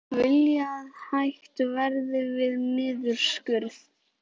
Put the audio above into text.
Vilja að hætt verði við niðurskurð